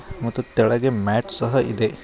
ಮತ್ತು ತೆಳಗೆ ಮ್ಯಾಟ್ ಸಹ ಇದೆ.